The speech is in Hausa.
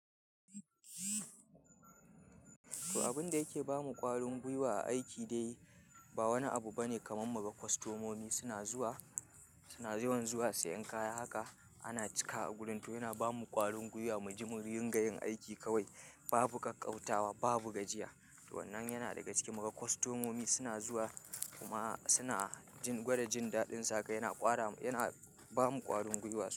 To, abin da yake ba mu ƙwarin gwiwa a aiki dai ba wani abu bane kamar muka kostomomi suna zuwa, suna yawan zuwa siyan kaya. Haka ana cika a gurin, to yana ba mu ƙwarin gwiwa mu ji mu ringa yin aiki kawai. Babu ƙaƙƙautawa, babu gajiya. Wannan yana daga ciki muga kwastomomi suna zuwa kuma suna gwada jindadin su haka yana kwara ba mu ƙwarin gwiwa su.